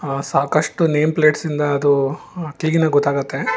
ಅ ಸಾಕಷ್ಟು name plates ಇಂದ ಅದು ತಿಗಿನೆ ಗೊತಾಗುತ್ತೆ.